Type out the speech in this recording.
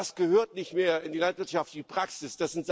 All das gehört nicht mehr in die landwirtschaftliche Praxis.